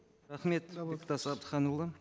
рахмет бектас әбдіханұлы